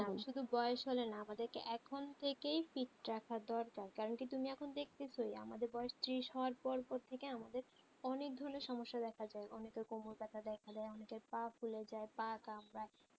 শুধু বয়েস হলে না আমাদেরকে এখন থেকেই fit রাখা দরকার কারণ কি তুমি এখন দেখতেছই আমাদের বয়েস ত্রিশ হবার পর পর থেকেই আমাদের অনেক ধরনের সমস্যা দেখা যায় অনেকের কোমর ব্যাথা দেয় অনেকের পা ফুলে যায় পা কাঁপায়